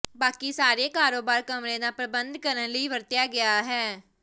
ਬਾਕੀ ਸਾਰੇ ਕਾਰੋਬਾਰ ਕਮਰੇ ਦਾ ਪ੍ਰਬੰਧ ਕਰਨ ਲਈ ਵਰਤਿਆ ਗਿਆ ਹੈ